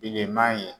Bilenman ye